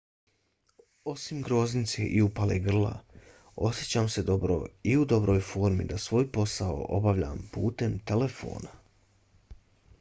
osim groznice i upale grla osjećam se dobro i u dobroj formi da svoj posao obavljam putem telefona.